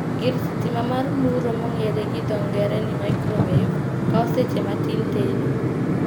Gir sitima mar muro mong'ere gi dho ng'ere ni "microwave" kao seche matin tedo